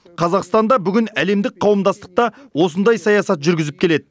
қазақстан да бүгін әлемдік қауымдастықта осындай саясат жүргізіп келеді